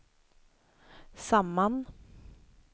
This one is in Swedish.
samman